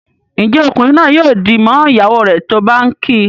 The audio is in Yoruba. Njé Ọkunrin naa yóò dì mọ ìyàwó rẹ tó bá ǹ kí?